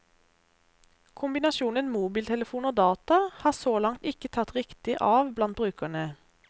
Kombinasjonen mobiltelefon og data har så langt ikke tatt riktig av blant brukerne.